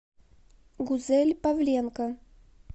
гузель павленко